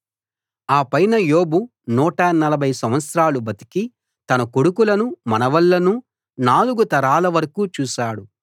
ఆ పైన యోబు నూట నలభై సంవత్సరాలు బతికి తన కొడుకులను మనవళ్ళను నాలుగు తరాల వరకూ చూశాడు